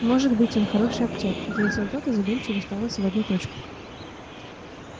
может быть он хороший актёр ответил тот и задумчиво уставился в одну точку